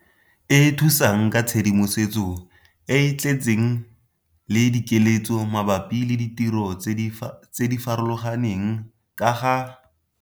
E thusang ka tshedimosetso e e tletseng le dikeletso mabapi le ditiro tse di farologaneng ka ga.